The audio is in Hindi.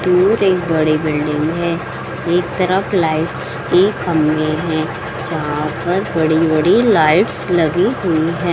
दूर एक बड़ी बिल्डिंग है। एक तरफ लाइट्स की खंभे हैं। जहाँ पर बड़ी-बड़ी लाइट्स लगी हुई हैं।